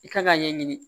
I kan k'a ɲɛɲini